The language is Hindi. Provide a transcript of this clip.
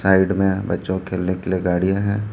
साइड में बच्चों के खेलने के लिए गाड़ी हैं।